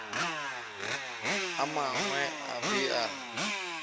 a mangwe o be a